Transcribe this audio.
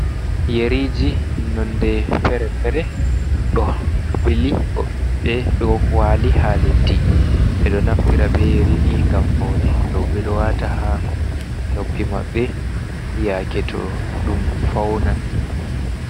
"Yeriji" nonde fere-fere ɗo ɓili goɗɗe ɗo wali ha leddi ɓeɗo naftira be yarini ngam faune rooɓe ɗo wata ha noppi maɓɓe yake to ɗum faunan.